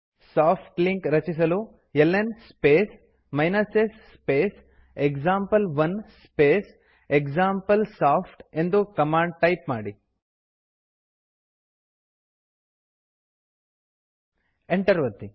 soft link ರಚಿಸಲು ಲ್ನ್ space s space example one space example soft ಎಂದು ಕಮ್ಯಾಂಡ್ ಟೈಪ್ ಮಾಡಿ ಎಂಟರ್ ಒತ್ತಿ